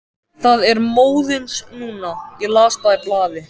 Það er móðins núna, ég las það í blaði.